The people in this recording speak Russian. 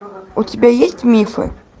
у тебя есть мифы